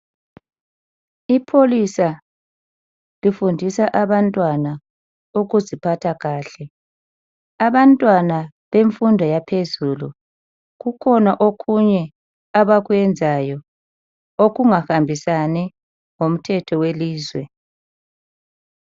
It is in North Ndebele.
Ipholisa lifundisa abantwana ukuziphatha kuhle. Abantwana bemfundo yaphezulu kukhona okunye abakwenzayo okungahambisani lomthetho welizwe.